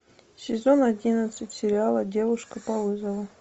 сезон одиннадцать сериала девушка по вызову